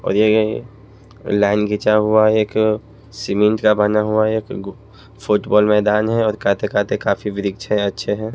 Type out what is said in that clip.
और ये लाइन खींचा हुआ है एक सीमेंट का बना हुआ है और एक फुटबॉल मैदान है और वृक्ष है अच्छे हैं।